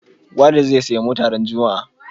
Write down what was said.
Walid zai siya mota ran juma a